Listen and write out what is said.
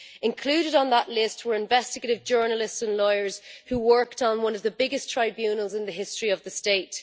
Included on that list were investigative journalists and lawyers who worked on one of the biggest tribunals in the history of the state.